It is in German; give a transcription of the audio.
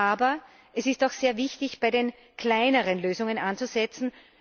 Aber es ist auch sehr wichtig, bei den kleineren Lösungen anzusetzen.